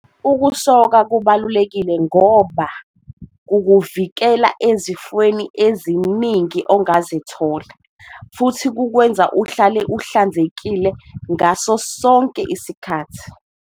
Ukusoka kubalulekile ngoba kukuvikela ezifweni eziningi ongazithola futhi kukwenza uhlale uhlanzekile ngaso sonke isikhathi.